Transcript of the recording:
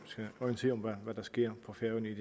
skal orientere om hvad der sker på færøerne i